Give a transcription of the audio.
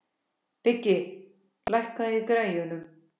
Biggi, lækkaðu í græjunum.